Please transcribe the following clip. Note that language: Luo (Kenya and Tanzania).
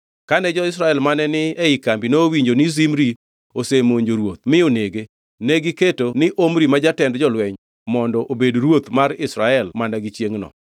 Kane jo-Israel mane ni e kambi nowinjo ni Zimri osemonjo ruoth mi onege, negiketo ni Omri ma jatend jolweny, mondo obedo ruoth mar Israel mana gi chiengʼno.